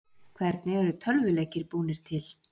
Hvernig eru tölvuleikir búnir til?